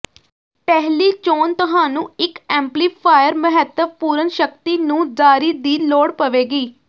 ਪਹਿਲੀ ਚੋਣ ਤੁਹਾਨੂੰ ਇੱਕ ਐਮਪਲੀਫਾਇਰ ਮਹੱਤਵਪੂਰਨ ਸ਼ਕਤੀ ਨੂੰ ਜਾਰੀ ਦੀ ਲੋੜ ਪਵੇਗੀ